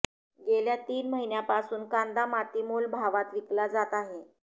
गेल्या तीन महिन्यांपासून कांदा मातीमोल भावात विकला जात आहे